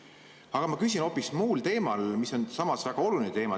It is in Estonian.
Aga ma küsin hoopis muul teemal, mis on samas väga oluline.